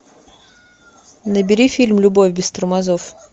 набери фильм любовь без тормозов